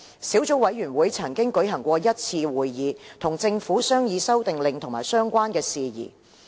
小組委員會曾舉行1次會議，與政府商議《修訂令》及相關事宜。